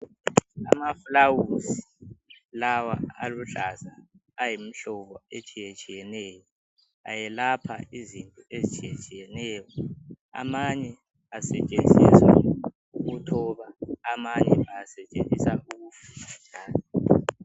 Amaflawuzi lawa aluhlaza ayimhlobo etshiyetshiyeneyo. Ayelapha izinto ezitshiyetshiyeneyo, amanye asetshenziswa ukuthoba amanye asetshenziswa ukuthoba amanye asetshenziswa ukufutha.